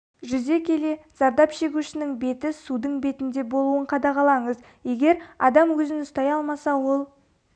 жүзе келе зардап шегушінің беті судың бетінде болуын қадағалаңыз егер адам өзін ұстай алмаса ол